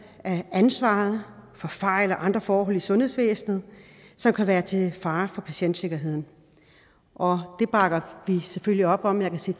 af ansvaret for fejl og andre forhold i sundhedsvæsenet som kan være til fare for patientsikkerheden det bakker vi selvfølgelig op om jeg kan se